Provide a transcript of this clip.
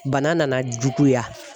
Bana nana juguya.